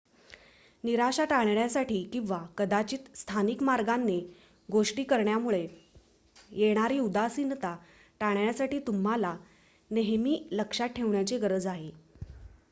निराशा टाळण्यासाठी किंवा कदाचित स्थानिक मार्गांने गोष्टी करण्यामुळे येणारी उदासीनता टाळण्यासाठी तुम्हाला नेहमी हे लक्षात ठेवण्याची गरज आहे